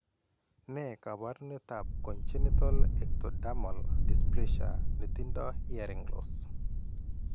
Ne kaabarunetap Congenital ectodermal dysplasia ne tindo hearing loss?